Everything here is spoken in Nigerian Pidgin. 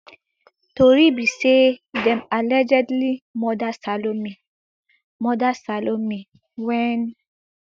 tori be say dem allegedly murder salome murder salome wen